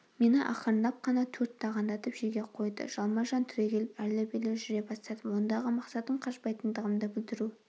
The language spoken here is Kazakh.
мені ақырындап қана төрт тағандатып жерге қойды жалма-жан түрегеліп әрлі-берлі жүре бастадым ондағы мақсатым қашпайтындығымды білдіру